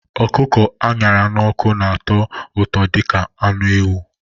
Ọkụkọ a ṅara n'ọkụ na-atọ ụtọ dị ka anụ ewu